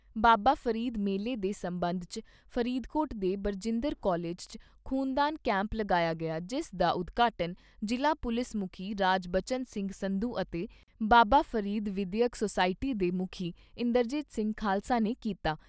ਬਾਬਾ ਫਰੀਦ ਮੇਲੇ ਦੇ ਸਬੰਧ 'ਚ ਫਰੀਦਕੋਟ ਦੇ ਬਰਜਿੰਦਰ ਕਾਲਿਜ 'ਚ ਖ਼ੂਨਦਾਨ ਕੈਂਪ ਲਗਾਇਆ ਗਿਆ ਜਿਸ ਦਾ ਉਦਘਾਟਨ ਜ਼ਿਲ੍ਹਾ ਪੁਲਿਸ ਮੁਖੀ ਰਾਜਬਚਨ ਸਿੰਘ ਸੰਧੂ ਅਤੇ ਬਾਬਾ ਫਰੀਦ ਵਿਦਿਅਕ ਸੋਸਾਇਟੀ ਦੇ ਮੁਖੀ ਇੰਦਰਜੀਤ ਸਿੰਘ ਖਾਲਸਾ ਨੇ ਕੀਤਾ।